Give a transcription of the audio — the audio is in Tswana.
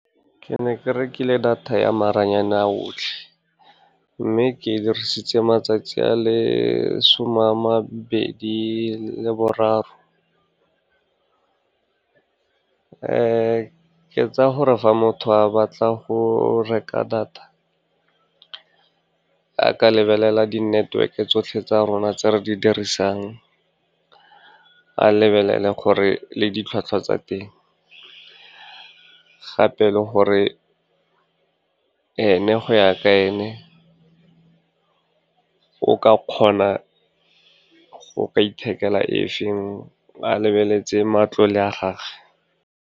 Ke ne ke rekile data ya maranyane a otlhe, mme ke e dirisitse matsatsi a le some a mabedi le boraro. Ke tsaya gore fa motho a batla go reka data, a ka lebelela di-network-e tsotlhe tse re di dirisang. A lebelele gore le ditlhwatlhwa tsa teng, gape le gore go ya ka ene, o ka kgona go ka ithekela efeng a lebeletse matlole a gage.